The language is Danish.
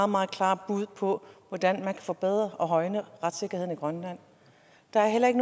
meget klare bud på hvordan man kan forbedre og højne retssikkerheden i grønland der er heller ikke